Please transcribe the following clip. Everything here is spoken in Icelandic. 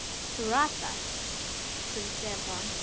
Þú ratar? spurði Stefán.